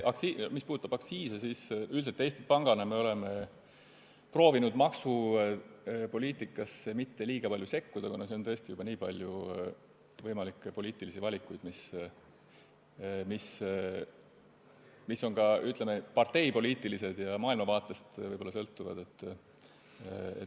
Mis puudutab aktsiise, siis üldiselt me oleme Eesti Pangana proovinud maksupoliitikasse mitte liiga palju sekkuda, kuna seal on tõesti juba nii palju võimalikke poliitilisi valikuid, mis on ka, ütleme, parteipoliitilised ja võib-olla maailmavaatest sõltuvad.